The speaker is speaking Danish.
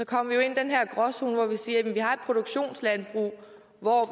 kommer vi jo ind i den her gråzone hvor vi siger at vi har et produktionslandbrug hvor